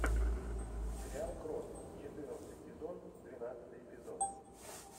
сериал крот четырнадцатый сезон двенадцатый эпизод